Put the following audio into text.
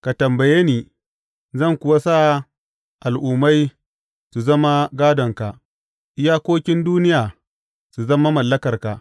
Ka tambaye ni zan kuwa sa al’ummai su zama gādonka, iyakokin duniya su zama mallakarka.